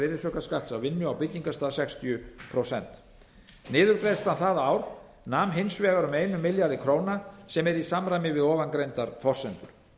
virðisaukaskatts af vinnu á byggingarstað nam sextíu prósent niðurgreiðslan það ár nam hins vegar um einum milljarði króna sem er í samræmi við ofangreindar forsendur